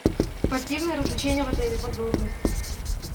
спортивные развлечения в отеле подробности